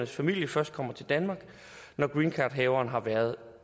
familie først kommer til danmark når greencardhaveren har været